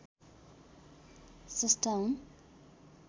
स्रष्टा हुन्